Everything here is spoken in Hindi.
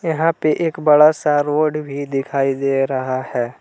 यहां पे एक बड़ा सा रोड भी दिखाई दे रहा है।